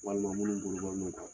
Walima minnu bolo bɔni don